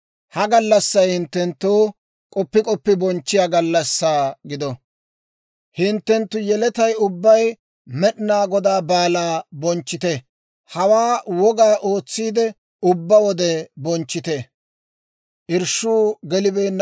«Ha gallassay hinttenttoo k'oppi k'oppi bonchchiyaa gallassaa gido; hinttenttu yeletay ubbay Med'inaa Godaa baalaa bonchchite; hawaa woga ootsiide ubbaa wode bonchchite.